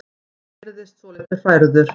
Hann virðist svolítið hrærður.